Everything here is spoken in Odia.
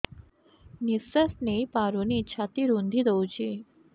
ନିଶ୍ୱାସ ନେଇପାରୁନି ଛାତି ରୁନ୍ଧି ଦଉଛି